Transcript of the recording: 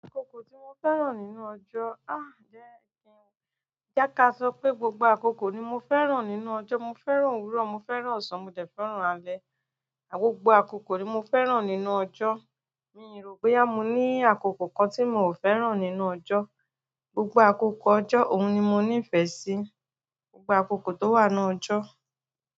Àkókò tí mo fẹ́ràn nínú ọjọ́, ah jẹ́ kí n, jẹ́ ká sọ pé gbogbo àkókò ni mo fẹ́ràn nínú ọjọ́. Mo fẹ́ràn òwúrọ̀, mo fẹ́ràn ọ̀sán, mo fẹ́ràn alẹ́. Àh gbogbo àkókò ni mo fẹ́ràn nínú ọjọ́. Mi rò bóyá mo ní àkókò kan tí mo fẹ́ràn nínú ọjọ́. Gbogbo àkókò ọjọ́ oun ni mo nífẹ́ síi. Gbogbo àkókò tó wà nínú ọjọ́.